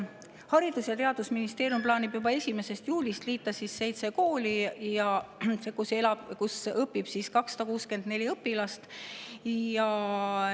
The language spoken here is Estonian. Haridus- ja Teadusministeerium plaanib juba 1. juulist liita seitse kooli, kus õpib 264 õpilast.